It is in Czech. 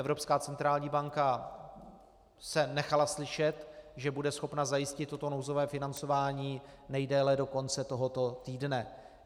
Evropská centrální banka se nechala slyšet, že bude schopna zajistit toto nouzové financování nejdéle do konce tohoto týdne.